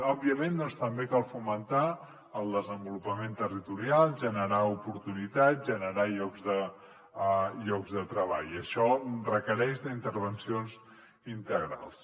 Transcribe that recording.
òbviament doncs també cal fomentar el desenvolupament territorial generar oportunitats generar llocs de treball i això requereix intervencions integrals